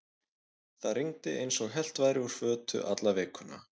Það rigndi eins og hellt væri úr fötu alla vikuna.